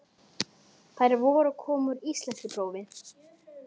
Þær voru að koma úr íslenskuprófi.